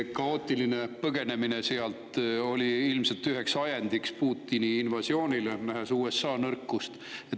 Kaootiline põgenemine sealt oli ilmselt üheks ajendiks Putini invasioonile, ta nägi USA nõrkust.